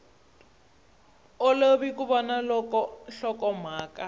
olovi ku vona loko nhlokomhaka